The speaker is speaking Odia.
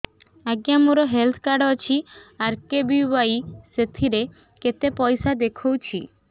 ଆଜ୍ଞା ମୋର ହେଲ୍ଥ କାର୍ଡ ଅଛି ଆର୍.କେ.ବି.ୱାଇ ସେଥିରେ କେତେ ପଇସା ଦେଖଉଛି